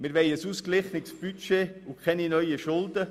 Wir wollen ein ausgeglichenes Budget und keine neuen Schulden.